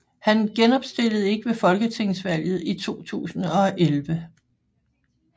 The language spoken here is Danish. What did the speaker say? Han genopstillede ikke ved folketingsvalget i 2011